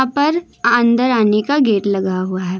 यहाँ पर अंदर आने का गेट लगा हुआ है।